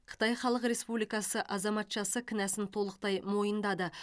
қытай халық республикасы азаматшасы кінәсін толықтай мойындады